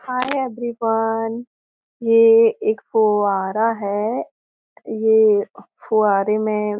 हाय everyone ये एक फुवारा है ये फुवारे में --